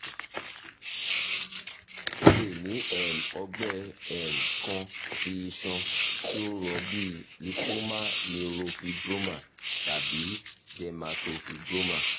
o le ni um ọgbẹ um kan ti iṣan ti o rọ bii lipoma neurofibroma tabi dermatofibroma